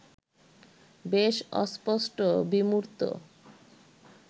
বেশ অস্পষ্ট, বিমূর্ত